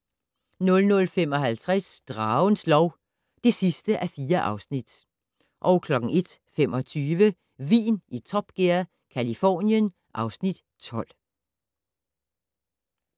00:55: Dragens lov (4:4) 01:25: Vin i Top Gear - Californien (Afs. 12)